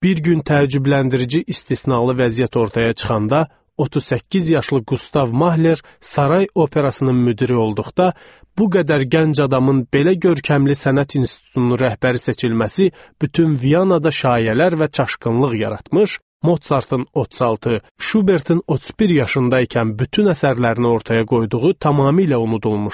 Bir gün təəccübləndirici istisnalı vəziyyət ortaya çıxanda, 38 yaşlı Qustav Mahler Saray Operasının müdiri olduqda, bu qədər gənc adamın belə görkəmli sənət institutunun rəhbəri seçilməsi bütün Vyanada şayələr və çaşqınlıq yaratmış, Mozartın 36, Şubertin 31 yaşında ikən bütün əsərlərini ortaya qoyduğu tamamilə unudulmuşdu.